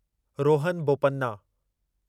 Rohan Bopanna